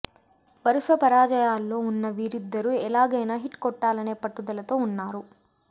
వరుస పరాజయాల్లో ఉన్న వీరిద్దరూ ఎలాగైనా హిట్ కొట్టాలనే పట్టుదలతో ఉన్నారు